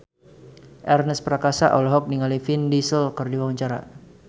Ernest Prakasa olohok ningali Vin Diesel keur diwawancara